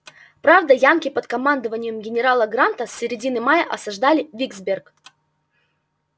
правда янки под командованием генерала гранта с середины мая осаждали виксберг